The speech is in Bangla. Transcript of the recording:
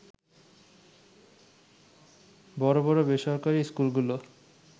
বড় বড় বেসরকারি স্কুলগুলো